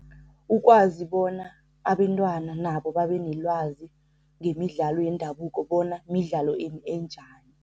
Ukwazi bona abentwana nabo babe nelwazi ngemidlalo yendabuko bona midlalo enjani.